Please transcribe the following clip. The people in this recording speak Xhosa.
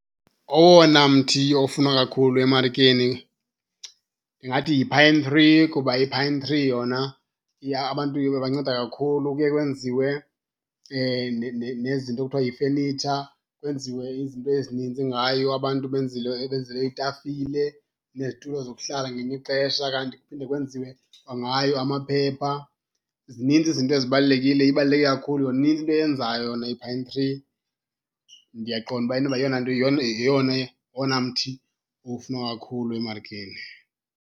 Owona mthi ofunwa kakhulu emarikeni ndingathi yi-pine tree kuba i-pine tree yona abantu ibanceda kakhulu. Kuye kwenziwe nezinto ekuthiwa yifenitsha, kwenziwe izinto ezininzi ngayo abantu benzelwe iitafile nezitulo zokuhlala ngelinye ixesha, kanti kuphinde kwenziwe kwangayo amaphepha. Zininzi izinto ezibalulekile, ibaluleke kakhulu , inintsi into oyenzayo yona i-pine tree. Ndiyaqonda uba inoba yeyona nto, yeyona, ngowona mthi ufunwa kakhulu emarikeni.